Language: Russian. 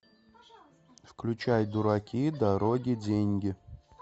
включай дураки дороги деньги